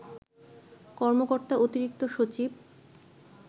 কর্মকর্তা অতিরিক্ত সচিব